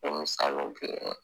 O misaliw be yen dɛ